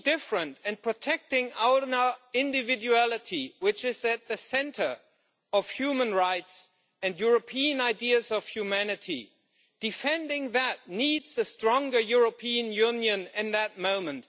Different, and being different and protecting our individuality, which is at the centre of human rights and European ideas of humanity. Defending that needs a stronger European Union at this moment.